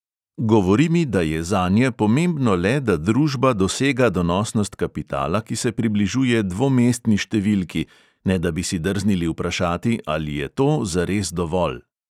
Govori mi, da je zanje pomembno le, da družba dosega donosnost kapitala, ki se približuje dvomestni številki, ne da bi si drznili vprašati, ali je to zares dovolj.